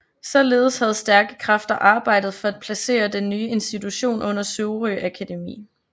Således havde stærke kræfter arbejdet for at placere den nye institution under Sorø Akademi